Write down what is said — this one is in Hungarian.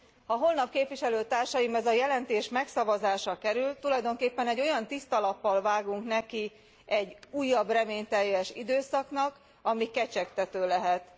Ha holnap a jelentés megszavazásra kerül, tulajdonképpen egy olyan tiszta lappal vágunk neki egy újabb reményteljes időszaknak, ami kecsegtető lehet.